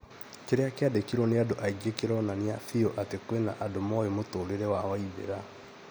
kĩrĩa kĩandĩkirwo nĩ andũ aingĩ kĩronania bĩũ atĩ kwĩna andũ moĩ mũtũrĩre wa waithera